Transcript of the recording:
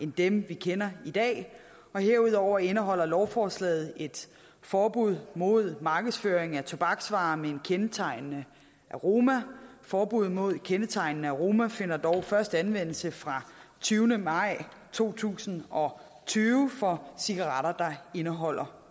dem vi kender i dag herudover indeholder lovforslaget et forbud mod markedsføring af tobaksvarer med en kendetegnende aroma forbuddet mod kendetegnende aroma finder dog først anvendelse fra tyvende maj to tusind og tyve for cigaretter der indeholder